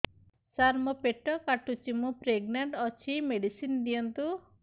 ସାର ମୋର ପେଟ କାଟୁଚି ମୁ ପ୍ରେଗନାଂଟ ଅଛି ମେଡିସିନ ଦିଅନ୍ତୁ